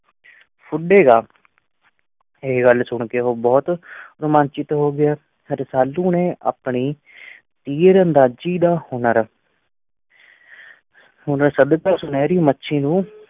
ਫੁਡੇਗਾ ਇਹ ਗੱਲ ਸੁਣ ਕੇ ਉਹ ਬਹੁਤ ਰੁਮਾਂਚਿਤ ਹੋ ਗਿਆ, ਰਸਾਲੂ ਨੇ ਆਪਣੀ ਤੀਰ-ਅੰਦਾਜ਼ੀ ਦਾ ਹੁਨਰ ਹੁਨਰ ਸਦਕਾ ਸੁਨਹਿਰੀ ਮੱਛੀ ਨੂੰ